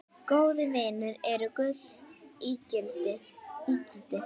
Góðir vinir eru gulls ígildi.